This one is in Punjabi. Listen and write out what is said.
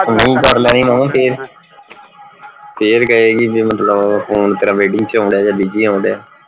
ਨਹੀਂ ਕਰ ਲੈਣੀ ਫੇਰ ਫੇਰ ਕਹੇਗੀ ਵੀ ਮਤਲਬ ਫੋਨ ਤੇਰਾ waiting ਚ ਆਉਣ ਢਆ ਜਾ busy ਆਉਣ ਢਆ